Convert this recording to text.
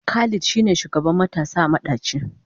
Khalid shine shugaban matasa a madaci.